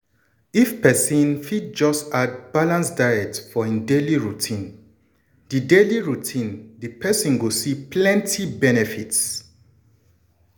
if pesin just add balanced diet for hin daily routine di daily routine di persin go see plenty benefits.